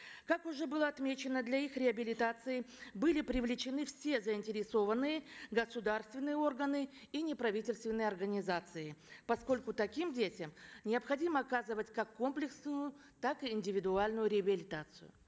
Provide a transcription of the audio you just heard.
как уже было отмечено для их реабилитации были привлечены все заинтересованные государственные органы и неправительственные организации поскольку таким детям необходимо оказывать как комплексную так и индивидуальную реабилитацию